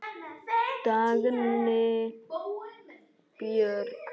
Dagný Björg.